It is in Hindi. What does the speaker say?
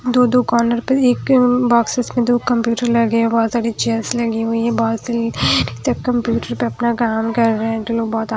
दो-दो कॉर्नर पे एक बॉक्सेस में दो कंप्यूटर लगे हैं बहुत सारी चेयर्स लगी हुई बहुतसी कंप्यूटर पर अपना काम कर रहे हैं।